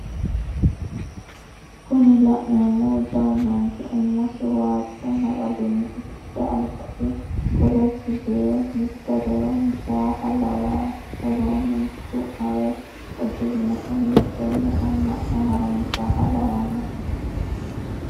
Kuni la'neemohu jawu manchi umosi wajju naxalinni usudhe albasi kolosi yee mitorivhho mishaaha lawayi woroonni du'mare udirinohu hitenne amma'no harunsaaha lawanno'ne?